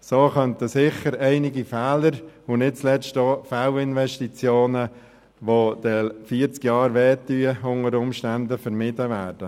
So könnten sicher einige Fehler und nicht zuletzt auch Fehlinvestitionen vermieden werden, die unter Umständen dann vierzig Jahre später noch wehtun.